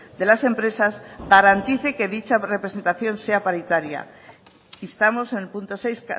de las empresas garantice que dicha representación sea paritaria instamos en el punto seis